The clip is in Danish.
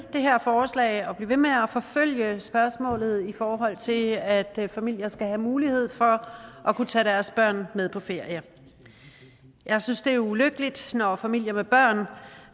det her forslag og for at blive ved med at forfølge spørgsmålet i forhold til at familier skal have mulighed for at kunne tage deres børn med på ferie jeg synes det er ulykkeligt når familier med børn